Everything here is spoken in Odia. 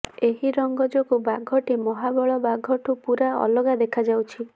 ଏହି ରଙ୍ଗ ଯୋଗୁଁ ବାଘଟି ମହାବଳ ବାଘଠୁ ପୂରା ଅଲଗା ଦେଖାଯାଉଛି